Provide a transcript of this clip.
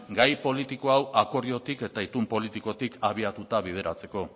gai politiko hau akordiotik eta itun politikotik abiatuta bideratzeko